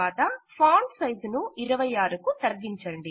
తరువాత font size ను 26 కు తగ్గించండి